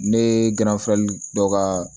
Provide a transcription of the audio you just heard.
Ne gɛrɛfere dɔ ka